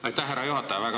Aitäh, härra juhataja!